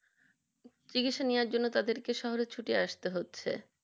চিকিৎসা নেওয়া জন্য তাদের কে শহরে ছুটে আসতে হচ্ছে